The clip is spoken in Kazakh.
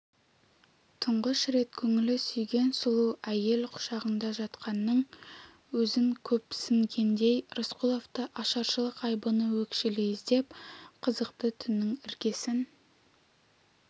тұңғыш рет көңілі сүйген сұлу әйел құшағында жатқанның өзін көпсінгендей рысқұловты ашаршылық айбыны өкшелей іздеп қызықты түннің іргесін